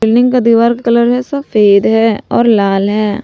Building का दीवार colour में सफेद है और लाल है ।